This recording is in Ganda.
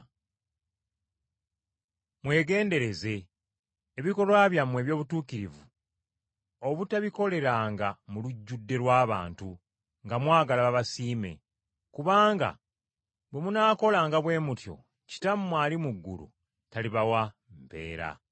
“Mwegendereze, ebikolwa byammwe eby’obutuukirivu obutabikoleranga mu lujjudde lw’abantu nga mwagala babasiime, kubanga bwe munaakolanga bwe mutyo Kitammwe ali mu ggulu talibawa mpeera.”